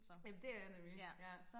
ja det er jeg nemlig ja